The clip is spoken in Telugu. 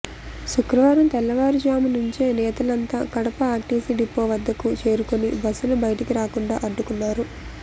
శుక్రవారం తెల్లవారుజాము నుంచే నేతలంతా కడప ఆర్టీసీ డిపో వద్దకు చేరుకుని బస్సులు బయటికి రాకుండా అడ్డుకున్నారు